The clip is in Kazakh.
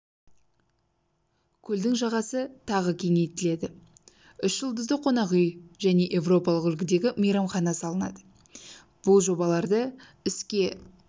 көлдің жағасы тағы кеңейтіледі үш жұлдызды қонақ үй және еуропалық үлгідегі мейрамхана салынады бұл жобаларды іске